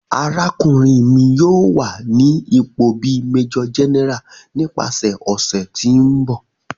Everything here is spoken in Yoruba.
Arakunrin mi yoo wa ni ipo bi Major General nipasẹ ọsẹ ti n bọ.